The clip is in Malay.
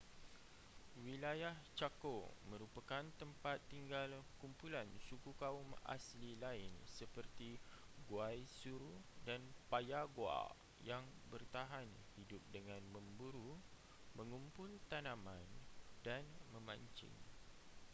wilayah chaco merupakan tempat tinggal kumpulan suku kaum asli lain seperti guaycurú dan payaguá yang bertahan hidup dengan memburu mengumpul tanaman dan memancing